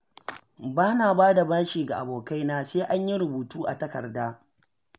Ba na ba da bashi ga abokaina sai an yi rubutu a takarda.